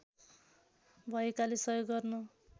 भएकाले सहयोग गर्न